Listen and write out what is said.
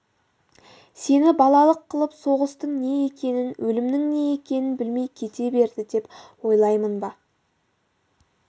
сені балалық қылып соғыстың не екенін өлімнің не екенін білмей кете берді деп ойлаймын ба